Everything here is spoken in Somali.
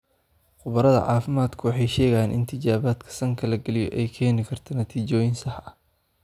Khubarada caafimaadku waxay sheegeen in tijaabada sanka la geliyo ay keeni karto natiijooyin sax ah.